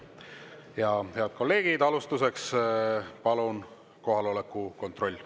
Ja head kolleegid, alustuseks palun kohaloleku kontroll.